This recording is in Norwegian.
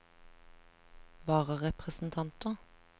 vararepresentanter